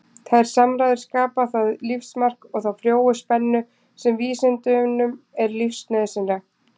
Þær samræður skapa það lífsmark og þá frjóu spennu sem vísindunum er lífsnauðsynleg.